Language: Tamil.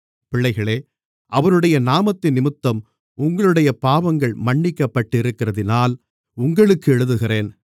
பிள்ளைகளே அவருடைய நாமத்தினிமித்தம் உங்களுடைய பாவங்கள் மன்னிக்கப் பட்டிருக்கிறதினால் உங்களுக்கு எழுதுகிறேன்